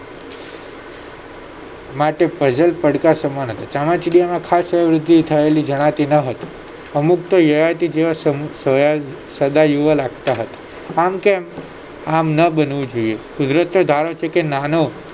માટે puzzle પડકાર સમાન હતા ચામાચીડિયામાં ખાસ વયોવૃદ્ધિ થયેલી જણાતી ના હતી અમુક તો એવા તે તેવા સમૂહ જોયા સદા યુવા લગતા હતા આમ કેમ આમ ના બનવું જોયે કુદરતનો ધારો છે કે નાનો